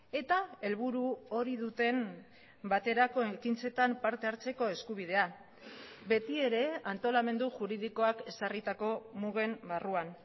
eta helburu hori duten baterako ekintzetan parte hartzeko eskubidea betiere antolamendu juridikoak ezarritako mugen barruan